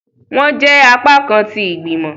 Wọn jẹ apakan tí igbimọ.